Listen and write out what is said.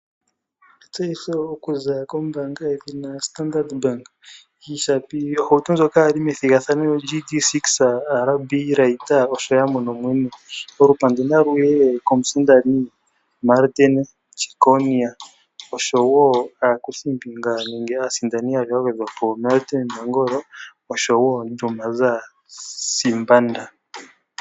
Etseyitho okuza kombanga yedhina Standard Bank oshapi yohauto ndjoka yali methigathano o GD-6 RD Raider oshoya mono mwene, olupandu na luye komusindani Martin Jeckonia oshowo akuthimbinga nenge aasindani yaali yamwe yagwedhwapo Martin Nangolo oshowo Dumaza Sibanda.